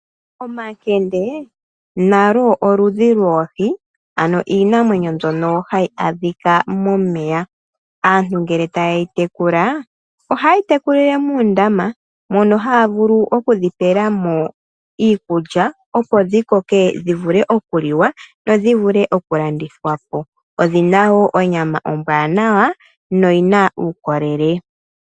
Omakende nalo oludhi lwoohi, ano iinamwenyo mbyono hayi adhika momeya. Aantu ngele tayeyi tekula, ohayeyi tekulile muundama, mono haya vulu okudhi pelamo iikulya , opo dhi koke dhivule ,okuliwa nodhivule okulandithwapo, odhina wo onyama ombwaanawa noyina uukolele.